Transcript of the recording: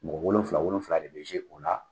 Mɔ wolonfila wolonfila de bɛ o la